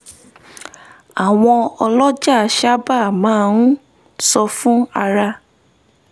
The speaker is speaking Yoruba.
àwọn ọlọ́jà sábà máa ń sọ fún ara